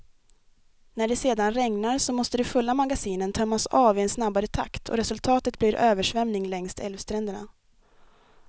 När det sedan regnar, så måste de fulla magasinen tömmas av i en snabbare takt och resultatet blir översvämning längs älvstränderna.